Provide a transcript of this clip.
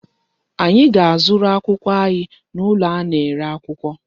Anyị ga-azụrụ akwụkwọ anyị n'ụlọ a na-ere akwụkwọ.